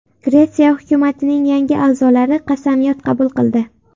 Gretsiya hukumatining yangi a’zolari qasamyod qabul qildi.